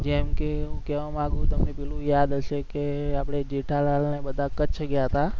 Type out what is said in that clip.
જેમકે હું કહેવા માંગુ તમને પેલું યાદ હશે કે આપણે જેઠાલાલને બધા કચ્છ ગયા તા